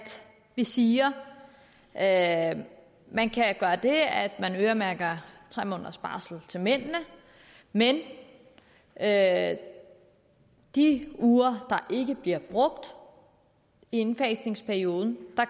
vi siger at at man kan gøre det at man øremærker tre måneders barsel til mændene men at de uger der ikke bliver brugt i indfasningsperioden